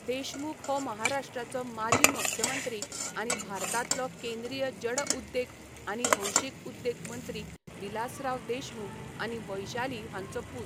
देशमुख हो महाराष्ट्राचो माजी मुख्यमंत्री आनी भारतांतलो केंद्रीय जड उद्देग आनी भौशीक उद्देग मंत्री विलासराव देशमुख आनी वैशाली हांचो पूत.